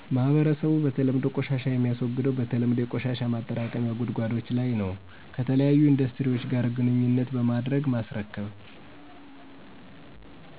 ማህረሰብ በተለምዶ ቆሻሻ የሚያስወግደው በተለምዶ የቆሻሻ ማጠራቀሚያ ጉድጓዶች ለይ ነው ከተለያዩ ኢንዱስትሪዎች ጋር ግንኙነት በማድረግ ማስረከብ